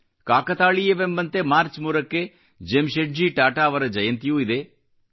ಕಾಕತಾಳೀಯವೆಂಬಂತೆ March 3ಕ್ಕೆ ಜೆಮ್ಶೆಡ್ಜಿ ಟಾಟಾ ಅವರ ಜಯಂತಿಯೂ ಇದೆ